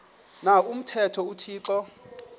na umthetho uthixo